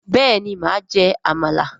béèni ma jẹ àmàlà.